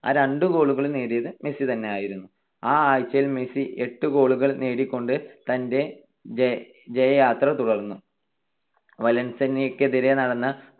ആ രണ്ട് goal കളും നേടിയത് മെസ്സി തന്നെയായിരുന്നു. ആ ആഴ്ചയിൽ മെസ്സി എട്ട് goal കൾ നേടിക്കൊണ്ട് തന്റെ ജയയാത്ര തുടർന്നു. വലൻസിയക്കെതിരെ നടന്ന